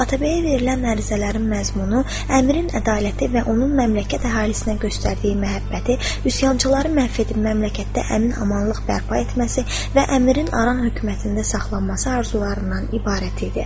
Atabəyə verilən ərizələrin məzmunu əmirin ədaləti və onun məmləkət əhalisinə göstərdiyi məhəbbəti, üsyançıları məhv edib məmləkətdə əmin-amanlıq bərpa etməsi və əmirin aran hökumətində saxlanması arzularından ibarət idi.